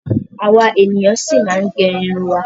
Àwa ènìyàn ṣi máa ma gẹ irun wa.